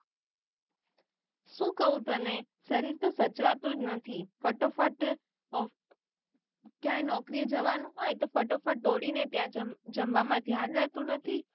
શુ કઉ તને શરીર તો સાચવતું જ નથી ફટોફટ ક્યાં નોકરી એ જવાનું હોય તો ફટોફટ દોડીને ત્યાં જમ~ જમવા માં ધ્યાન રહેતું નથી અને ના પછી જમવા માં ધ્યાન રહેતું નથી